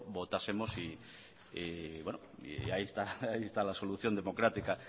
votásemos y ahí está la solución democrática